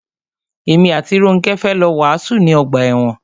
Èmi àti Rónkẹ́ fẹ́ lọ wàásù ní ọgbà ẹ̀wọn.